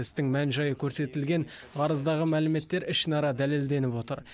істің мән жайы көрсетілген арыздағы мәліметтер ішінара дәлелденіп отыр